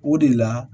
O de la